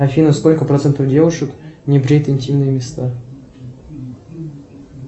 афина сколько процентов девушек не бреет интимные места